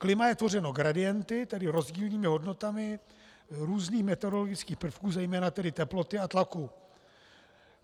Klima je tvořeno gradienty, tedy rozdílnými hodnotami různých meteorologických prvků, zejména tedy teploty a tlaku.